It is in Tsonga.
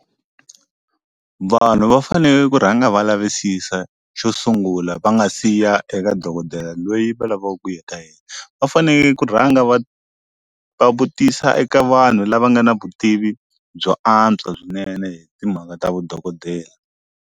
Vanhu va faneke ku rhanga va lavisisa xo sungula va nga siya eka dokodela loyi va lavaku ku ya ka yena va faneke ku rhanga va vutisa eka vanhu lava nga na vutivi byo antswa swinene hi timhaka ta vudokodela.